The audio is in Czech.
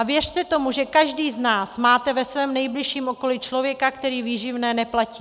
A věřte tomu, že každý z nás má ve svém nejbližším okolí člověka, který výživné neplatí.